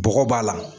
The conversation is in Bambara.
Bɔgɔ b'a la